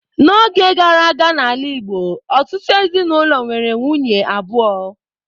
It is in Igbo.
N'oge gara aga n'ala Igbo, ọtụtụ ezinaụlọ nwere nwunye abụọ.